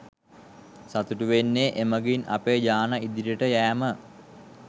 සතුටුවෙන්නේ එමගින් අපේ ජාන ඉදිරියට යෑම